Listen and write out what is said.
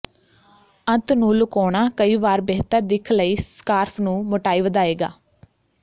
ਅੰਤ ਨੂੰ ਲੁਕਾਉਣਾ ਕਈ ਵਾਰ ਬਿਹਤਰ ਦਿੱਖ ਲਈ ਸਕਾਰਫ਼ ਨੂੰ ਮੋਟਾਈ ਵਧਾਏਗਾ